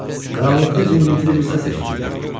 Qaranlıqda cingiltili bir səs eşidildi.